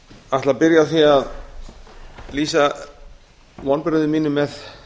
ætla að byrja á því að lýsa vonbrigðum mínum með